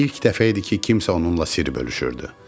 İlk dəfə idi ki, kimsə onunla sir bölüşürdü.